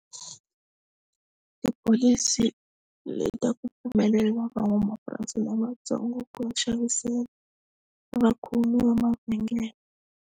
Tipholisi leti ta ku pfumelela van'wamapurasi lavatsongo ku va xavisela vakhomi va mavhengele.